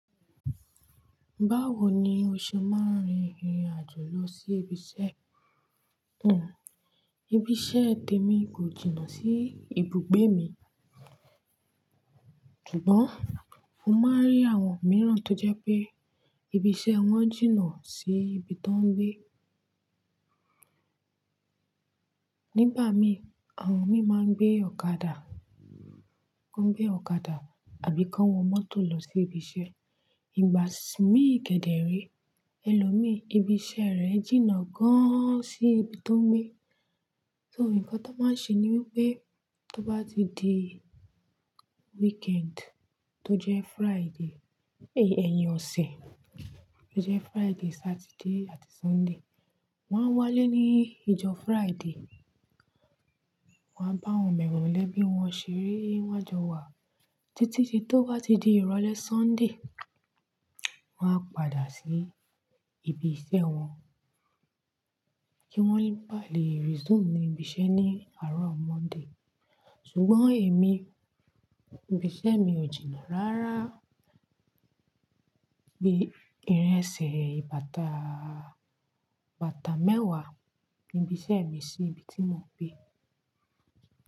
Báwo ni o ṣe máa ń rin ìrìn àjò lọ sí ibi iṣẹ́ Ibi iṣẹ́ tèmi kò jìnnà sí ibùgbé mi, ṣùgbọ́n mo máa ń rí àwọn mìíràn tó jẹ́ pé ibi iṣẹ́ wọn jìnnà sí ibi tó ń gbé. Nígba mi, àwọn mí máa ń gbé ọ̀kadà, wọ́n ń gbé ọ̀kadà àbí kán wọ mọ́tò lọ sí ibi iṣẹ́. Ìgbà mí kẹ̀dẹ̀ re ẹlòmíí ibi iṣẹ́ rẹ̀ jìnnà gan an sí ibi tó ń gbé. So nǹkan tó máa ń ṣe ni wípé tó bá ti di weekend tó jẹ́ Friday, ẹyin ọ̀sẹ̀, tó jẹ́ Friday, Saturday àti Sunday, wọ́n á wálé ní ìjọ́ Friday, wọ́n á bá awọn molẹ́bi wọn ṣeré won a jọ wa títí di tó bá ti di ìrọ̀lẹ́ Sunday, wọ́n á padà sí ibi iṣẹ́ wọn kí wọ́n lè ba lè resume ní ibi iṣẹ́ ní àárọ̀ Monday. Ṣùgbọ́n èmi, ibi iṣẹ́ mi ò jìnnà rárá bí ìrin ẹsẹ̀ bàtàà, bàtà mẹ́wàá ibi iṣẹ́ mi sí ibi tí mo ń gbé.